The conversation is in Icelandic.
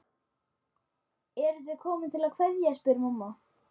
Sveitirnar eru þannig skipaðar